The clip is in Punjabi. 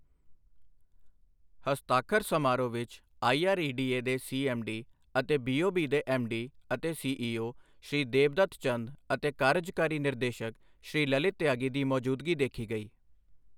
ਹਸਤਾਖਰ ਸਮਾਰੋਹ ਵਿੱਚ ਆਈਆਰਈਡੀਏ ਦੇ ਸੀਐੱਮਡੀ ਅਤੇ ਬੀਓਬੀ ਦੇ ਐੱਮਡੀ ਅਤੇ ਸੀਈਓ, ਸ਼੍ਰੀ ਦੇਬਦੱਤ ਚੰਦ ਅਤੇ ਕਾਰਜਕਾਰੀ ਨਿਰਦੇਸ਼ਕ ਸ਼੍ਰੀ ਲਲਿਤ ਤਿਆਗੀ ਦੀ ਮੌਜੂਦਗੀ ਦੇਖੀ ਗਈ।